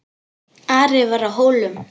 Ari var á Hólum.